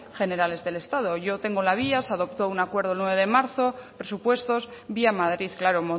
generales del estado yo tengo la vía se adoptó un acuerdo el nueve de marzo presupuestos vía madrid claro